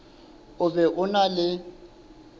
o be o na le